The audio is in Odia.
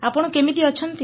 ଆପଣ କେମିତି ଅଛନ୍ତି